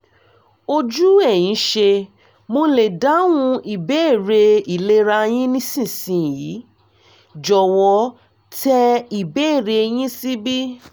ojú ẹ̀yin ṣé mo lè dáhùn ìbéèrè ìlera yín nísinsìnyí? jọ̀wọ́ tẹ ìbéèrè yín síbí